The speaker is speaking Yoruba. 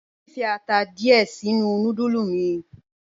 Mo n fi ata diẹ̀ sinu nùdúlù mi.